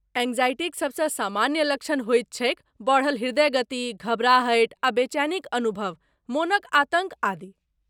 एंग्जायटीक सबसँ सामान्य लक्षण होइत छैक बढ़ल ह्रदय गति, घबराहटि आ बेचैनीक अनुभव, मनक आतङ्क, आदि।